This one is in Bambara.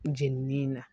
Jenini in na